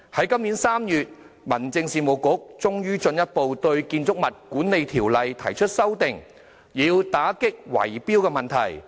今年3月1日，民政事務局終於進一步對《建築物管理條例》提出修訂，以打擊圍標問題。